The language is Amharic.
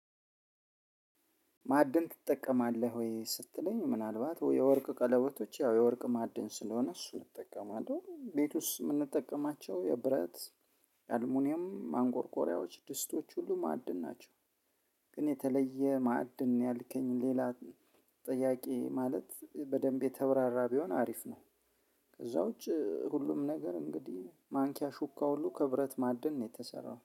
ማዕድን ትጠቀማለህ ወይ ስትለኝ ምናልባት ወይ የወርቅ ቀለቦቶች ያው የወርቅ ማዕድን ስለሆነ እሱን እጠቀማለሁ። ቤት ውስጥ የምንጠቀማቸው የብረት የአልሙኒየም ማንጎርጎሪያዎች ድስቶች ሁሉ ማዕድን ናቸው። ግን የተለየ ማዕድን ያልከኝ ሌላ ጥያቄ ማለት በደንብ የተብራራ ቢሆን አሪፍ ነው። ከዛ ውጪ ሁሉም ነገር እንግዲህ ማንኪያ ሹካ ሁሉ ከብረት ማዕድን ነው የተሰራው።